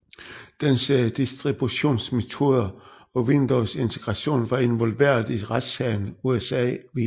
Dens distributionsmetoder og Windowsintegration var involveret i retssagen USA v